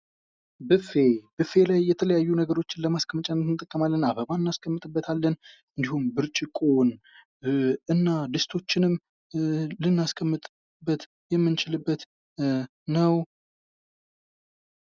ብፌ ብፌ ላይ የተለያዩ ነገሮችን ለማስቀመጫ እንጠቀማለን አበባ እናስቀምጥበታለን እንዲሁም ብርጭቆ እና ድስቶችንም ልናስቀምጥበት የምንችልበት ነው ::